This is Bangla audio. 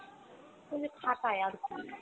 এ খাটায় আরকি।